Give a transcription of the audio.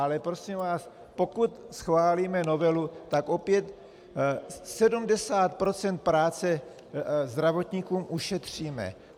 Ale prosím vás, pokud schválíme novelu, tak opět 70 % práce zdravotníkům ušetříme.